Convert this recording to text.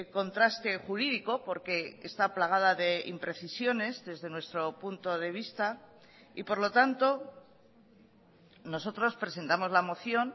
contraste jurídico porque está plagada de imprecisiones desde nuestro punto de vista y por lo tanto nosotros presentamos la moción